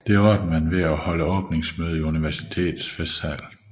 Det klarede man ved at holde åbningsmøde i universitetets festsal